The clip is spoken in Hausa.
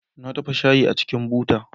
Na dafa shayi a cikin buta